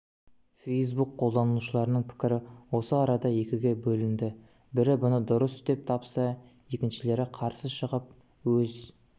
фейсбук қолданушыларының пікірі осы арада екіге бөлінді бірі бұны дұрыс деп тапса екіншілері қарсы шығып өз